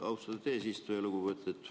Austatud eesistuja!